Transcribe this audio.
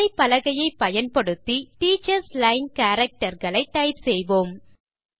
விசைப்பலகையை பயன்படுத்தி நாம் teachers line character களை டைப் செய்வோம்